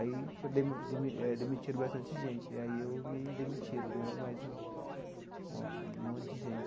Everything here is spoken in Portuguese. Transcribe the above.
Aí foi demi demi eh demitiram bastante gente, aí eu me demitiram né, mais um um monte de gente.